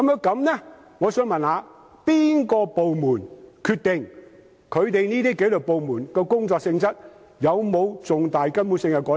那麼，我想問由哪個部門決定紀律部門的工作性質有否重大、根本性的改變？